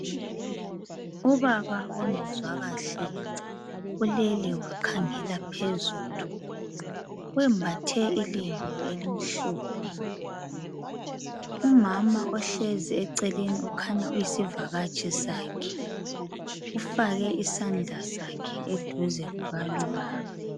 Ubaba ongezwa kahle ulele wakhangela phezulu. Wembathe ilembu elimhlophe, umama ohlezi eceleni ukhanya uyisivakatshi sakhe. Ufake isandla sakhe eduze kukalubaba.